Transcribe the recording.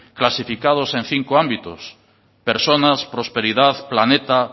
clasificados en cinco ámbitos personas prosperidad planeta